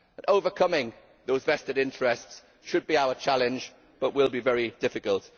Overcoming those vested interests should be our challenge, but it will be very difficult.